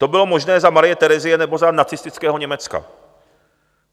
To bylo možné za Marie Terezie nebo za nacistického Německa.